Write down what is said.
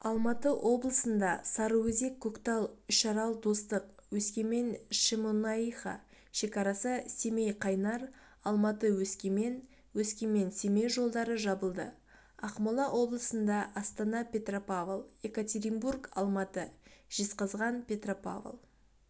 алматы облысында сарыөзек-көктал үшарал-достық өскемен-шемонаиха шекарасы семей-қайнар алматы-өскемен өскемен-семей жолдары жабылды ақмола облысында астана-петропавл екатеринбург-алматы жезқазған-петропавл